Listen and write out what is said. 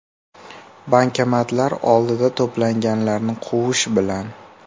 Bankomatlar oldida to‘planganlarni quvish bilan.